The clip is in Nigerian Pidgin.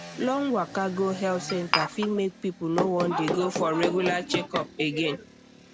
long waka go health center fit make people no wan dey go for regular checkup again